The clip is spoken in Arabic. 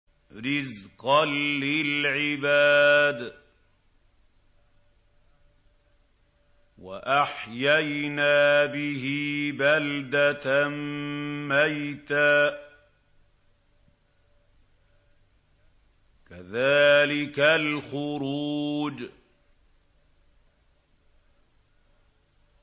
رِّزْقًا لِّلْعِبَادِ ۖ وَأَحْيَيْنَا بِهِ بَلْدَةً مَّيْتًا ۚ كَذَٰلِكَ الْخُرُوجُ